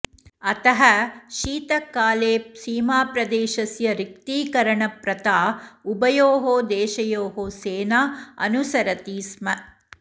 अतः शीतकाले सीमाप्रदेशस्य रिक्तीकरणप्रथा उभयोः देशयोः सेना अनुसरति स्म